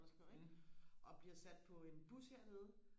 eller sådan noget ikke og bliver sat på en bus hernede